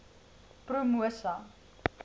promosa